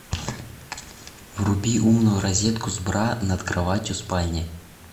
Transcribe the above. вруби умную розетку с бра над кроватью в спальне